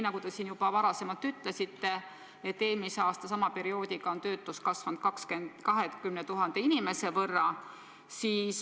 Nagu te juba ütlesite, eelmise aasta sama perioodiga võrreldes on töötus kasvanud 20 000 inimese võrra.